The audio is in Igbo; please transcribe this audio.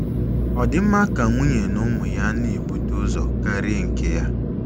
Ọdịmma nke nwunye na ụmụ ya na ebute ụzọ karịa nke ya.